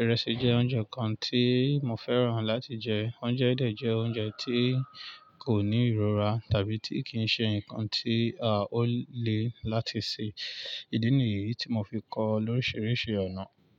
Ìrẹsì jẹ́ oúnjẹ kan tí mo fẹ́ràn láti jẹ. Oúnjẹ yi dẹ̀ jẹ́ oúnjẹ tí kò ní ìrora tàbí tí kì í ṣe ǹkan tí ó le láti sè. Ìdí nìyí tí mo fi kọ lóríṣiríṣi ọ̀nà.